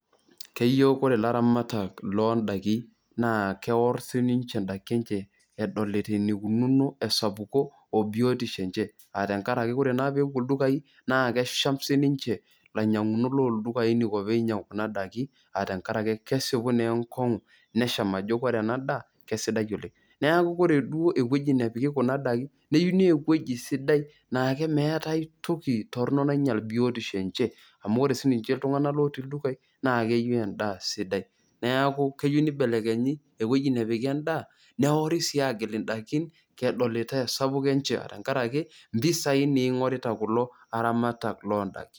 Keyieu ore laramatak loondakin naa kewor sininche ndaki enye eyiolo enikunono sapuko obiotisho enche aa tenkaraki ore naa pebulu na kesham sininche lainyangak looldukai a tenkaraki kesieku naa enkongu nesham ajo ore ena daa kesidai oleng, neaku ore duo ewueji napiki kuna daki keyieu naa ewueji sidai na kameetai toki toronok nainyel biotisho enye, amu ore sininche ltunganak lemurua na keyeu nche endaa sidai neaku keyieu nibelekenyi inewueji napiki endaa neori si agil ndakin edolitai esapuko enche tenkaraki mpisai na ingorita kulo aramatak loondakin.